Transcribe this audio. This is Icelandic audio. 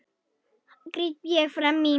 gríp ég fram í.